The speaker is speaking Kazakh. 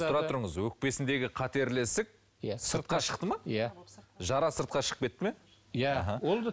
тұра тұрыңыз өкпесіндегі қатерлі ісік иә сыртқа шықты ма иә жара сыртқа шығып кетті ме иә